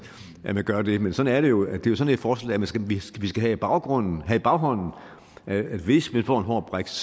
at man gør det men sådan er det jo det er sådan et forslag vi skal vi skal have baggrunden have i baghånden hvis vi får en hård brexit